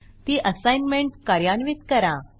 ती असाईनमेंट कार्यान्वित करा